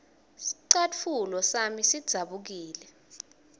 scatfulo sami sidzabukile